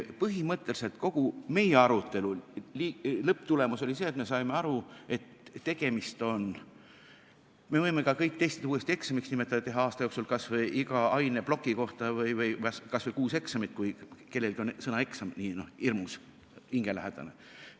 Põhimõtteliselt kogu meie arutelu lõpptulemus oli see, et me saime aru, et me võime ka kõik testid uuesti eksamiks nimetada ja teha aasta jooksul kas või iga aineploki kohta kuus eksamit, kui kellelgi on sõna "eksam" hirmus hingelähedane.